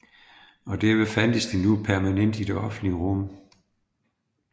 Og derved fandtes de nu permanent i det offentlige rum